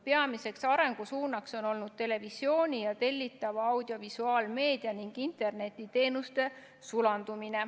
Peamiseks arengusuunaks on olnud televisiooni ja tellitava audiovisuaalmeedia ning internetiteenuste sulandumine.